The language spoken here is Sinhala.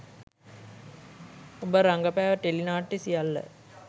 ඔබ රඟපෑ ටෙලි නාට්‍ය සියල්ල